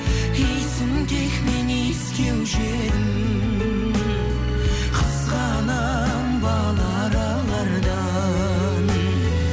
иісін тек мен иіскеуші едім қызғанамын бал аралардан